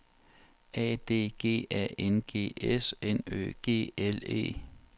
A D G A N G S N Ø G L E